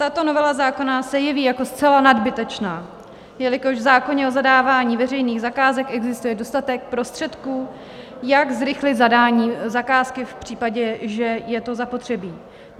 Tato novela zákona se jeví jako zcela nadbytečná, jelikož v zákoně o zadávání veřejných zakázek existuje dostatek prostředků, jak zrychlit zadání zakázky v případě, že je to zapotřebí.